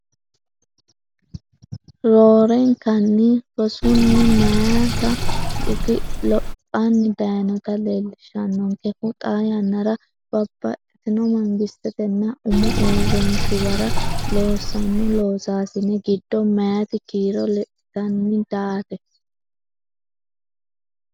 Roorenkanni rosunni meyaate dhuki lophanni dayinota leellishannonkehu xaa yannara babbaxxitino mangistetenna umu uurrinshuwara loossanno loosaasine giddo meyaate kiiro lexxitanni daate.